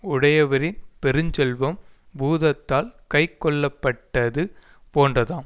உடையவரின் பெருஞ்செல்வம் பூதத்தால் கைக்கொள்ளப்பட்டது போன்றதாம்